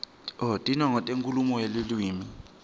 tinongo tenkhulumo yeluwimi